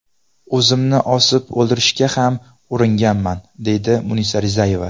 O‘zimni osib o‘ldirishga ham uringanman”, deydi Munisa Rizayeva.